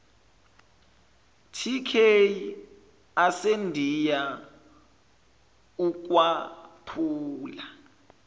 tk asendiya ukwaphula